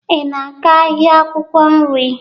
Ị na-aga ahịa akwụkwọ nri?